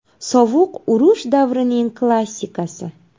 Sovuq urush davrining klassikasi.